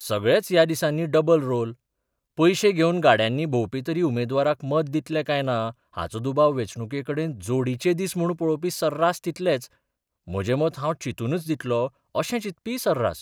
सगळेच ह्या दिसांनी डबल रोल पयशे घेवन गाड्यांनी भोंवपी तरी उमेदवाराक मत दितले काय ना हाचो दुबाव बेंचणुकेकडेन 'जोडीचे दीस 'म्हूण पळोवपी सर्रास तितलेच, म्हजें मत हांव चिंतूनच दितलों, अशें चिंतपीय सर्रास.